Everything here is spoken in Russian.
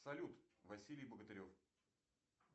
салют василий богатырев